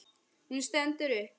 Hún stendur upp.